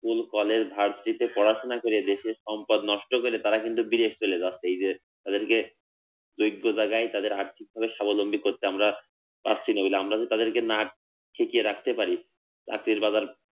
school college varsity তে পড়াশোনা করে দেশের সম্পদ নষ্ট করে তারা কিন্তু বিদেশ চলে যাচ্ছে এই যে তাদেরকে যোগ্য জায়গায় তাদের আর্থিকভাবে স্বাবলম্বী করতে আমরা সাক্ষী রইলাম আমরা তো তাদেরকে না শিখিয়ে রাখতে পারি চাকরির বাজার